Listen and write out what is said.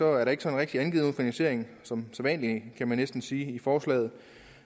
er der ikke sådan rigtig angivet nogen finansiering som sædvanlig kan man næsten sige i forslaget